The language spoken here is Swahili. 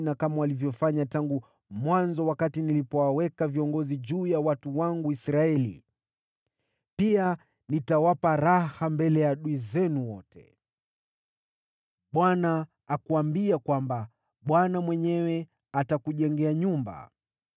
na kama walivyofanya tangu mwanzo wakati nilipowaweka viongozi juu ya watu wangu Israeli. Pia nitawapa raha mbele ya adui zenu wote. “‘ Bwana akuambia kwamba Bwana mwenyewe atakujengea nyumba.